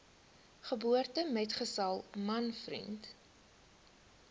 geboortemetgesel man vriend